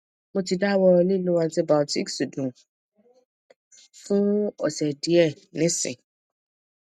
mo ti dawọ lilo antibiotics dun fun ose diẹ nisin